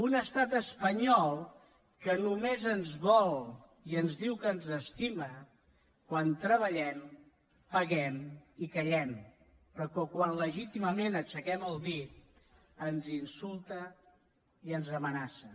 un estat espanyol que només ens vol i ens diu que ens estima quan treballem paguem i callem però que quan legítimament aixequem el dit ens insulta i ens amenaça